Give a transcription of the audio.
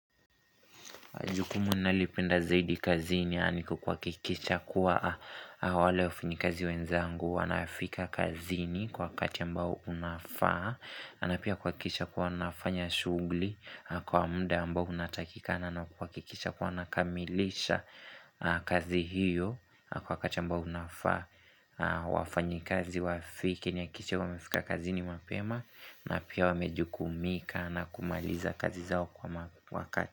Jukumu nalipenda zaidi kazini, aniku kuakikisha kuwa wale wafinyikazi wenzangu, wanafika kazini kwa kati ambao unafaa, anapia kuakisha kuwa nafanya shugli, kwa muda ambao unatakikana, na kuakikisha kuwa nakamilisha kazi hiyo kwa kati ambao unafaa, wafanyi kazi wafike, niakishe wamefika kazini mapema, na pia wamejuku umika na kumaliza kazi zao kwa ma wakati.